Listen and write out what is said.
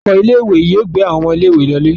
Ọkọ̀ ilé-ìwé yóò gbé àwọn ọmọ ilé-ìwé lọlé.